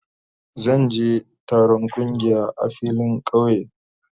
Zan je je taron kungiya a filin kauye.